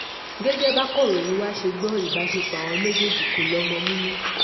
gẹ́gẹ́ bákọ̀ròyìn wá ṣe gbọ́ ìbásepọ̀ àwọn méjèèjì kò lọ́mọ nínú